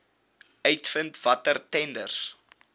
uitvind watter tenders